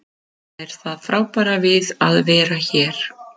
Það er það frábæra við að vera hér.